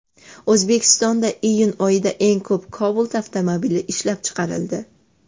O‘zbekistonda iyun oyida eng ko‘p Cobalt avtomobili ishlab chiqarildi.